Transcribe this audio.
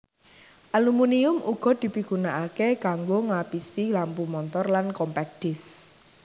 Aluminium uga dipigunakaké kanggo nglapisi lampu montor lan compact disks